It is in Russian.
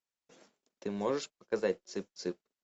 ты можешь показать цып цып